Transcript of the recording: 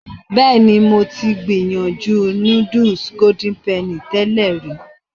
Bẹ́ẹ̀ ni, mo ti gbìyànjú núdùs Golden Penny tẹ́lẹ̀ rí.